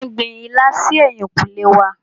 Màmá mí gbin ilá si ẹ̀yìnkùlé wa.